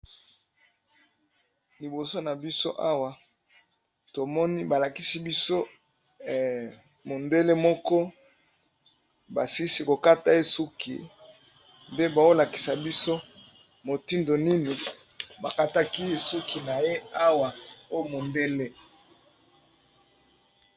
Liboso na biso awa to moni ba lakisi biso mondele moko ba silisi ko kata ye suki. Nde bao lakisa biso motindo nini ba kataki ye suki na ye awa o mondele.